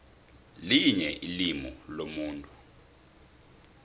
linye ilimu lomuntu